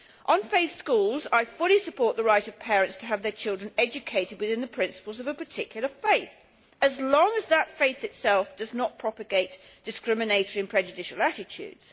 On faith schools, I fully support the right of parents to have their children educated within the principles of a particular faith, so long as that faith itself does not propagate discriminatory and prejudicial attitudes.